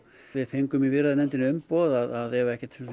við fengum í viðræðunefndinni umboð að ef ekkert